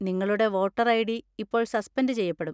നിങ്ങളുടെ voter ID. ഇപ്പോൾ suspend ചെയ്യപ്പെടും.